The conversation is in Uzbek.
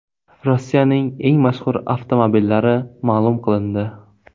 Rossiyaning eng mashhur avtomobillari ma’lum qilindi.